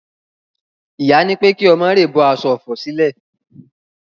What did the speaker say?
Ìyá nípé kí omo rèè bó aso òfò sìlè.